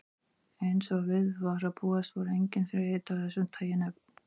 Eins og við var að búast voru engin fyrirheit af þessu tagi efnd.